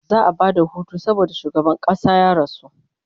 za'a Bada Hutu saboda shugaban ƙasa ya rasu